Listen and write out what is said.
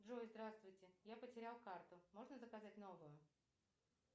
джой здравствуйте я потерял карту можно заказать новую